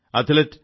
കായികതാരം P